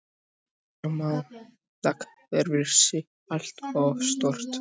Fjármálakerfið sé allt of stórt